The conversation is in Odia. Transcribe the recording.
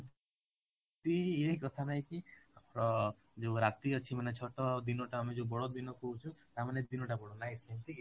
ଇଏ କଥା ନାଇଁ କି ଅ ଯଉ ରାତି ଅଛି ମାନେ ଛୋଟ ଦିନଟା ଯୋଉ ଆମେ ବଡ଼ଦିନ କହୁଛୁ ତା ମାନେ ଦିନ ଟା ବଡ ନାଇଁ ସେମିତି କିଛି